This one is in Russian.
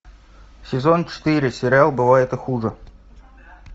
сезон четыре сериал бывает и хуже